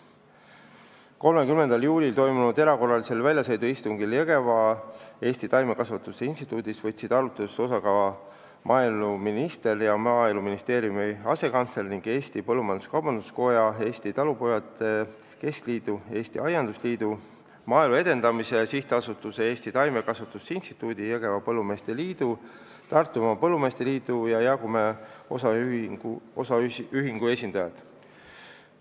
30. juulil toimunud erakorralisest väljasõiduistungist Jõgeval Eesti Taimekasvatuse Instituudis võtsid osa ka maaeluminister ja Maaeluministeeriumi asekantsler ning Eesti Põllumajandus-Kaubanduskoja , Eestimaa Talupidajate Keskliidu, Eesti Aiandusliidu, Maaelu Edendamise SA, Eesti Taimekasvatuse Instituudi, Jõgevamaa Põllumeeste Liidu, Tartumaa Põllumeeste Liidu ja Jaagumäe OÜ esindajad.